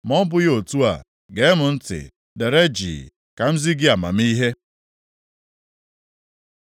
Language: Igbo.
Ma ọ bụghị otu a, gee m ntị; dere jii, ka m zi gị amamihe.”